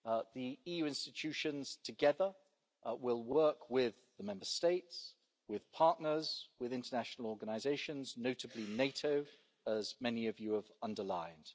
The EU institutions together will work with the Member States, with partners and with international organisations, notably NATO, as many of you have underlined.